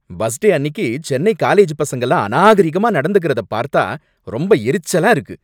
Bus day அன்னிக்கு Chennai college பசங்கல்லாம் அநாகரிகமா நடந்துக்கறத பார்த்தா ரொம்ப எரிச்சலா இருக்கு.